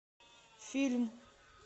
фильм